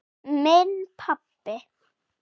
Minn pabbi.